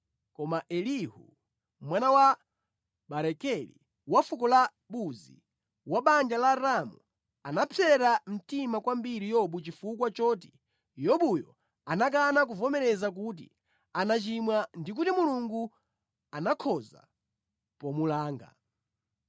Koma Elihu, mwana wa Barakeli, wa fuko la Buzi, wa banja la Ramu, anapsera mtima kwambiri Yobu chifukwa choti Yobuyo anakana kuvomera kuti anachimwa ndi kuti Mulungu anakhoza pomulanga.